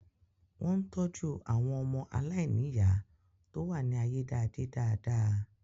Wọ́n ń tọ́jú àwọn ọmọ aláìníyàá tó wà ní ayédáadé dáadáa